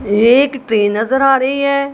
एक ट्रेन नजर आ रही है।